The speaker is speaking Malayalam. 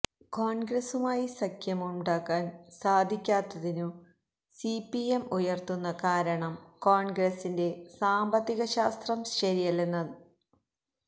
കോണ്ഗ്രസുമായി സഖ്യമുണ്ടാക്കാന് സാധിക്കാത്തതിനു സി പി എം ഉയര്ത്തുന്ന കാരണം കോണ്ഗ്രസിന്റെ സാമ്പത്തിക ശാസ്ത്രം ശരിയല്ലെന്നാണ്